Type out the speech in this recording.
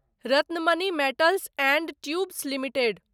Ratnamani metals and tubes limited